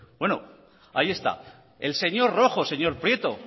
bueno ahí está el señor rojo señor prieto